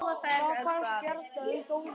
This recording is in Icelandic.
Hvað fannst Bjarna um dóminn?